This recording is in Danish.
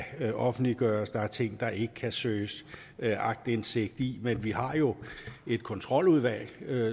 offentliggøres der er ting der ikke kan søges aktindsigt i men vi har jo et kontroludvalg